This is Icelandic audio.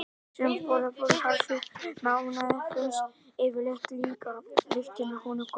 Þeim sem borða harðfisk með ánægju finnst yfirleitt líka lyktin af honum góð.